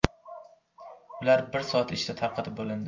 Ular bir soat ichida tarqatib bo‘lindi.